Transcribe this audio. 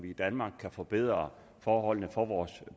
i danmark kan forbedre forholdene for vores